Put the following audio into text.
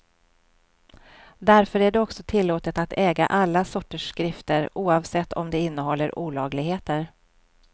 Därför är det också tillåtet att äga alla sorters skrifter, oavsett om de innehåller olagligheter.